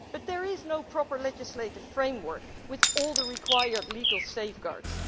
But there is no proper legislative framework with all the required legal safeguards.